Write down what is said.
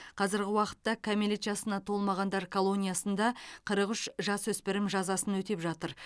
қазіргі уақытта кәмелет жасына толмағандар колониясында қырық үш жасөспірім жазасын өтеп жатыр